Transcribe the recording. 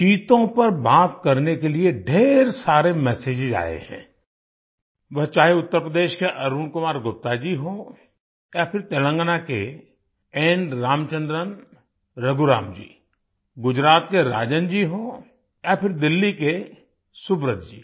चीतों पर बात करने के लिए ढ़ेर सारे मेसेजेज आए हैं वह चाहे उत्तर प्रदेश के अरुण कुमार गुप्ता जी हों या फिर तेलंगाना के एन रामचंद्रन रघुराम जी गुजरात के राजन जी हों या फिर दिल्ली के सुब्रत जी